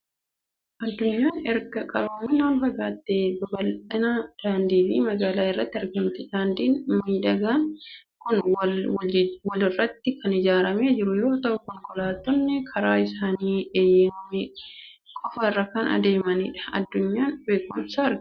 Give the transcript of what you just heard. Addunyaan erga qaroominaan fagaattee babal'ina daandii fi magaala irratti argamti. Daandiin miidhagaan kun wal walirratti kan ijaaramee jiru yoo ta'u, konkolaattonni karaa isaanii eeyyamame qofaa irra kan adeemanidha. Addunyaa beekumsaa argina!